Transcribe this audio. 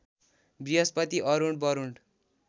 Brihaspati Arun Barun